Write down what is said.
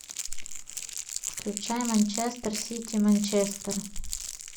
включай манчестер сити манчестер